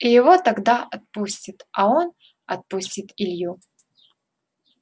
и его тогда отпустит а он отпустит илью